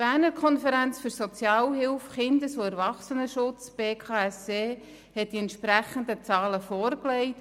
Die Berner Konferenz für Sozialhilfe, Kindes- und Erwachsenenschutz (BKSE) hat die entsprechenden Zahlen vorgelegt.